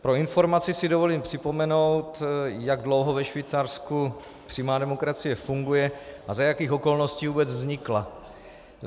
Pro informaci si dovolím připomenout, jak dlouho ve Švýcarsku přímá demokracie funguje a za jakých okolností vůbec vznikla.